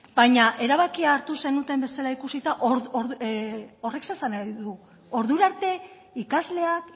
baina erabakia hartu zenuten bezala ikusita horrek zer esan nahi du ordura arte ikasleak